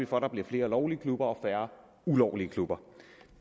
for at der bliver flere lovlige klubber og færre ulovlige klubber